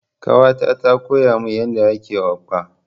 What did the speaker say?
Ƙawata ta koya min yadda ake okpa.